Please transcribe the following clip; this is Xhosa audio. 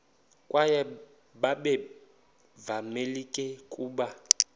kwaye babevamelekile ukuba